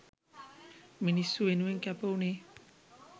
මිනිස්සු වෙනුවෙන් කැප උනේ.